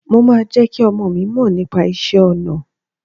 Mo máa jẹ́ kí ọmọọ̀ mi mọ nípa iṣẹ́ ọnà